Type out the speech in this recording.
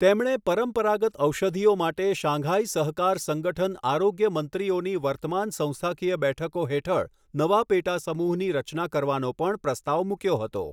તેમણે પરંપરાગત ઔષધિઓ માટે શાંઘાઇ સહકાર સંગઠન આરોગ્ય મંત્રીઓની વર્તમાન સંસ્થાકીય બેઠકો હેઠળ નવા પેટા સમૂહની રચના કરવાનો પણ પ્રસ્તાવ મૂક્યો હતો.